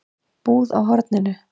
Búð á horninu?